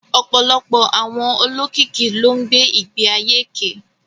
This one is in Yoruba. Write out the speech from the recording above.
Ọ̀pọ̀lọpọ̀ àwọn olókìkí ló ń gbé ìgbé ayé èké